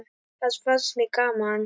Það fannst mér gaman!